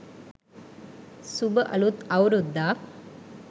suba aluth awruddak